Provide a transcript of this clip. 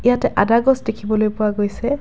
ইয়াত আদা গছ দেখিবলৈ পোৱা গৈছে।